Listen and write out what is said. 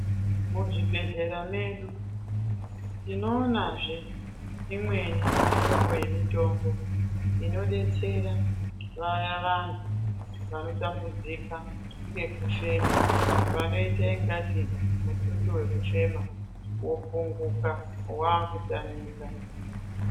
Muzvibhendlera mwedu tinoonazve imweni mihlobo yemitombo inobetsera vayaa vantu vanotambudzika ngekufema. Vanoita ingati mututu we kufema wopunguka wakutamika.